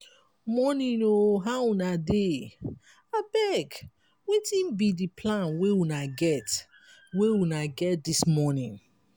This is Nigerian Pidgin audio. morning o! how una dey? abeg wetin be di plan wey una get wey una get dis morning?